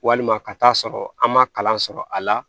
Walima ka taa sɔrɔ an ma kalan sɔrɔ a la